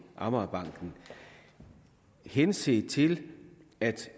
amagerbanken henset til at